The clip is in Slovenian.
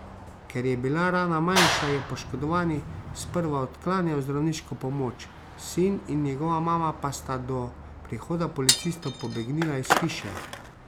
Ker je bila rana manjša, je poškodovani sprva odklanjal zdravniško pomoč, sin in njegova mama pa sta do prihoda policistov pobegnila iz hiše.